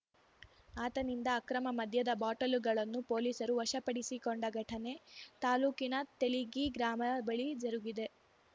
ಆತನಿಂದ ಅಕ್ರಮ ಮದ್ಯದ ಬಾಟಲುಗಳನ್ನು ಪೋಲೀಸರು ವಶ ಪಡಿಸಿಕೊಂಡ ಘಟನೆ ತಾಲೂಕಿನ ತೆಲಿಗಿ ಗ್ರಾಮದ ಬಳಿ ಜರುಗಿದೆ